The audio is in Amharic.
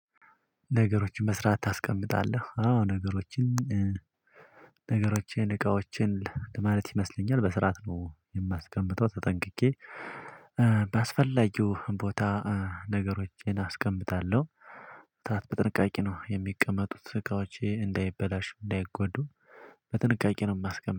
ነገሮችን በስርዓት ታስቀምጣለህ። አዎ ነገሮችን ነገሮችን እቃዎችን ለማለት ይመስለኛል በስርዓት ነው የማስቀምጠው ተጠንቅቄ ባስፈላጊው ቦታ ነገሮችን አስቀምጣለሁ። በጥንቃቄ ነው የሚቀመጡት እቃዎቼ እንዳይበላሹ እንዳይጎዱ በጥንቃቄ ነው።